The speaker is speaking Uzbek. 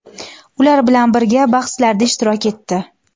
ular bilan birga bahslarda ishtirok etdi.